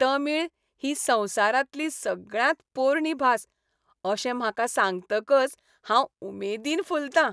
तमीळ ही संवसारांतली सगळ्यांत पोरणी भास अशें म्हाका सांगतकच हांंव उमेदीन फुलतां.